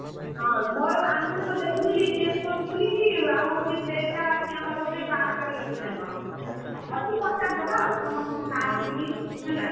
ହଁ ମୋର ଆମକୁ ସେଦିନ ଦେଖୁଥିଲି ଚେକ କରୁଥିଲି କି ଆଉ ହଉଛି train ଟା ଅଛି ଆମର ବୋଧେ ବାରଟାରୁ ଅଛି ନା କଣ! ଅଛି ପଚାରି ଦବା ଆଉ, ସମସ୍ତଙ୍କୁ sir ଙ୍କୁ ବି ଟିକେ ହେଲା!